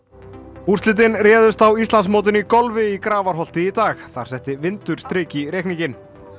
úrslitin réðust á Íslandsmótinu í golfi í Grafarholti í dag þar setti vindur strik í reikninginn